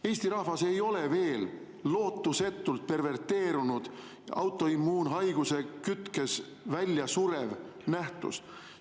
Eesti rahvas ei ole veel lootusetult perverteerunud, autoimmuunhaiguse kütkes, väljasurev nähtus.